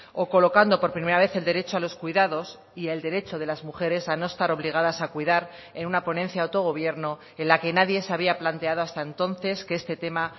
o colocando por primera vez el derecho a los cuidados y el derecho de las mujeres a no estar obligadas a cuidar en una ponencia de autogobierno en la que nadie se había planteado hasta entonces que este tema